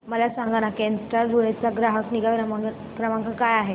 मला सांगाना केनस्टार धुळे चा ग्राहक निगा क्रमांक काय आहे